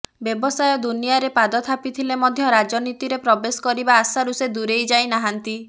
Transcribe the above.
ବ୍ୟବସାୟ ଦୁନିଆରେ ପାଦ ଥାପିଥିଲେ ମଧ୍ୟ ରାଜନୀତିରେ ପ୍ରବେଶ କରିବା ଆଶାରୁ ସେ ଦୂରେଇ ଯାଇ ନାହାନ୍ତି